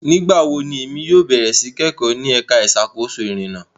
Nigbawo ni emi yóò bẹrẹ si ni kẹkọ ni ẹka iṣakoso irinna?